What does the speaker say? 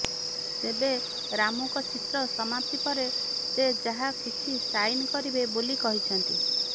ତେବେ ରାମୁଙ୍କ ଚିତ୍ର ସମାପ୍ତି ପରେ ସେ ଯାହା କିଛି ସାଇନ୍ କରିବେ ବୋଲି କହିଛନ୍ତି